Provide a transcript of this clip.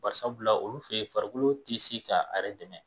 Bari sabula olu fe yen farikolo ti se ka a yɛrɛ dɛmɛ